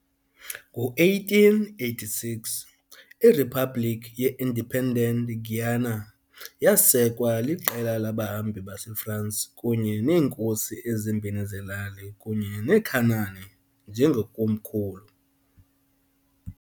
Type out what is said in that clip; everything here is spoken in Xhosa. Ngo-1886, iRiphabhlikhi ye-Independent Guiana yasekwa liqela labahambi baseFransi kunye neenkosi ezimbini zelali kunye neCunani njengekomkhulu.